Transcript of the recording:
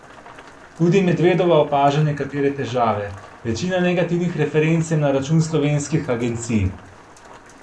Tudi Medvedova opaža nekatere težave: "Večina negativnih referenc je na račun slovenskih agencij.